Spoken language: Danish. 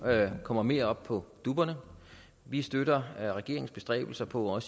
kommer mere op på dupperne vi støtter regeringens bestræbelser på at